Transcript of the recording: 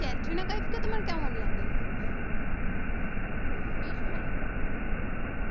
ক্যাটরিনা কাইফকে তোমার কেমন লাগে? বেশ ভালো।